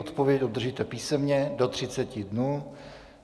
Odpověď obdržíte písemně do 30 dnů.